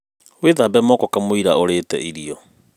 Wĩthabe moko kamũira ũrite irio.